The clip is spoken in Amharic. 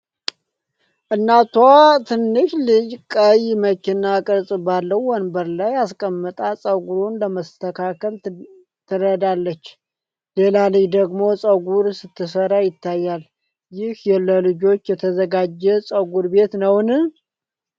እናቷ ትንሹን ልጅ ቀይ መኪና ቅርፅ ባለው ወንበር ላይ አስቀምጣ ፀጉሩን ለመስተካከል ትረዳለች፣ ሌላ ልጅ ደግሞ ፀጉር ስትሰራ ይታያል። ይህ ለልጆች የተዘጋጀ ፀጉር ቤት ነውን?